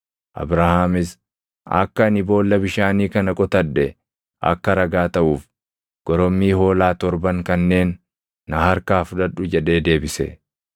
Abrahaamis, “Akka ani boolla bishaanii kana qotadhe akka ragaa taʼuuf, gorommii hoolaa torban kanneen na harkaa fudhadhu” jedhee deebise.